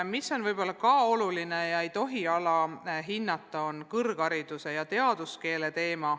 Oluline küsimus, mida ei tohi alahinnata, on kõrghariduse ja teaduskeele teema.